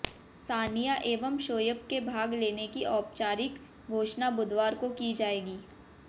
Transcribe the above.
सानिया एवं शोएब के भाग लेने की औपचारिक घोषणा बुधवार को की जाएगी